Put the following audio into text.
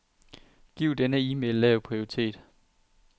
Giv denne e-mail lav prioritet.